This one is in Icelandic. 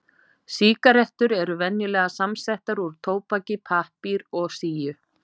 Sígarettur eru venjulega samsettar úr tóbaki, pappír og síu.